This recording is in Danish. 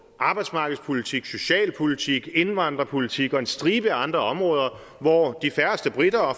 arbejdsmarkedspolitik socialpolitik indvandrerpolitik og en stribe andre områder hvor de færreste briter og